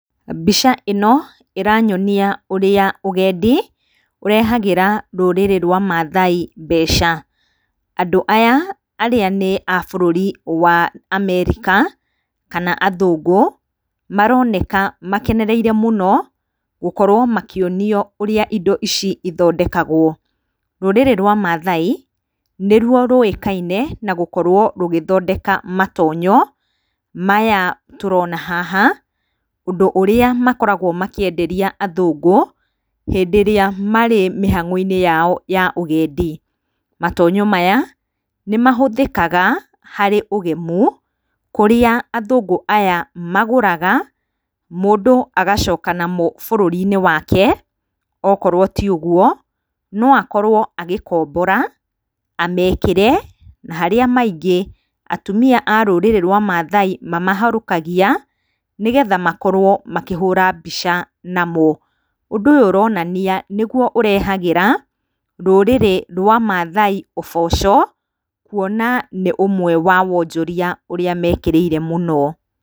Mbica ĩni ĩranyonia ũrĩa ũgendi ũrehagĩra rũrĩrĩ rwa Maathai mbeca. Andũ aya arĩa nĩ a bũrũri wa Amerika kana athũngũ, maroneka makenereire mũno gũkorwo makĩonia ũrĩa indo ici ithondekagwo. Rũrĩrĩ rwa Maathai nĩ rũo rũĩkaine na gũkorwo rũgĩthondeka matonyo maya tũrona haha, ũndũ ũrĩa makoragwo makĩenderia athũngũ hĩndĩ ĩrĩa marĩ mĩhang'o-inĩ yao ya ũgendi. Matonyo maya nĩ mahũthĩkaga harĩ ũgemu kũrĩa athũngũ aya magũraga mũndũ agacoka namo bũrũri-inĩ wake, okorwo ti ũguo no akorwo agĩkombora amekĩre na harĩa maingĩ atumia arũrĩrĩ rwa Maathai mamahũarũkagia nĩgetha makorwo makĩhũra mbica namo. Ũndũ ũyũ ũrorania nĩguo ũrehagĩra rũrĩrĩ rwa Maathai ũboco kuona nĩ ũmwe wa wonjoria ũrĩa mekĩrĩire mũno.